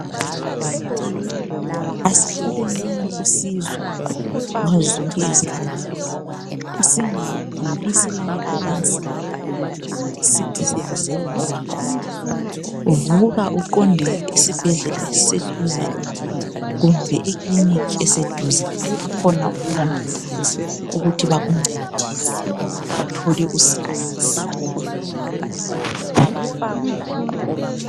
Asitholenini usizo ngazozonke izikhathi, singaguli silalephansi sisithi siyazelapha. Vuka uqonde esibhedlela esiseduze kumbe ekiliniki eseduze bakhona oMongikazi bokuthi bakuncedise ukuthi uthole usizo.